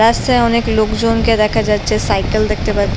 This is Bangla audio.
রাস্তায় অনকে লোক জন কে দেখা যাচ্ছে। সাইকেল দেখতে পার--